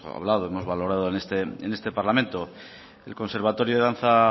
hablado hemos valorado en este parlamento el conservatorio de danza